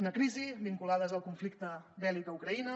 unes crisis vinculades al conflicte bèl·lic a ucraïna